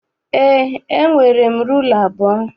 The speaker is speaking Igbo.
Eé, e nwere rula abụọ.